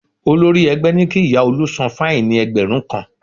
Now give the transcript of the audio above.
Olórí ẹgbẹ́ ní kí ìyá Olú san fáìnì ẹgbẹ̀rún kan